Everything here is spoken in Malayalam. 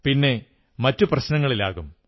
പിന്നെ മറ്റു പ്രശ്നങ്ങളിലാകും